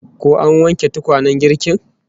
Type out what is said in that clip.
Ko an wanke tukwanen girkin?